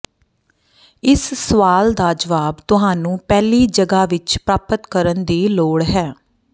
ਇਸ ਸਵਾਲ ਦਾ ਜਵਾਬ ਤੁਹਾਨੂੰ ਪਹਿਲੀ ਜਗ੍ਹਾ ਵਿੱਚ ਪ੍ਰਾਪਤ ਕਰਨ ਦੀ ਲੋੜ ਹੈ